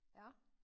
Ja